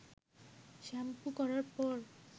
shampoo করার পর